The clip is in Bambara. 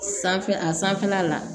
Sanfɛ a sanfɛla la